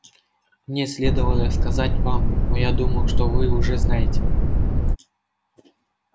мне следовало сказать это вам но я думал что вы уже знаете